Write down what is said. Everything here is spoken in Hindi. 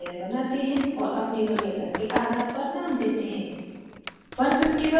एक नयी layer बनाते हैं और अपनी वरीयता के आधार पर name देते हैं